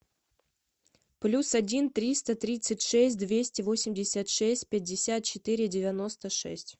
плюс один триста тридцать шесть двести восемьдесят шесть пятьдесят четыре девяносто шесть